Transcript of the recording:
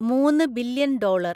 മൂന്ന് billion dollar